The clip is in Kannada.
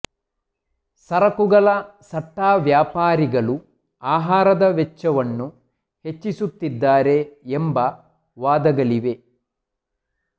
ಸರಕುಗಳ ಸಟ್ಟಾ ವ್ಯಾಪಾರಿಗಳು ಆಹಾರದ ವೆಚ್ಚವನ್ನು ಹೆಚ್ಚಿಸುತ್ತಿದ್ದಾರೆ ಎಂಬ ವಾದಗಳಿವೆ